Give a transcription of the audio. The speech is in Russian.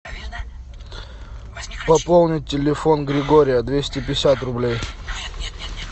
пополнить телефон григория двести пятьдесят рублей